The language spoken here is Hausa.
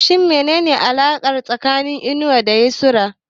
Shin menene alakar dake tsakanin Inusa da Yusra?